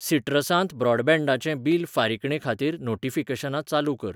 सिट्रसांत ब्रॉडबँडाचें बिल फारिकणे खातीर नोटीफिकेशनां चालू कर.